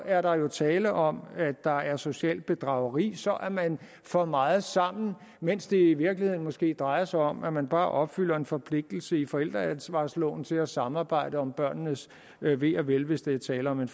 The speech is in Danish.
er der jo tale om at der er socialt bedrageri for så er man for meget sammen mens det i virkeligheden måske drejer sig om at man bare opfylder en forpligtelse i forældreansvarsloven til at samarbejde om børnenes ve og vel hvis der er tale om en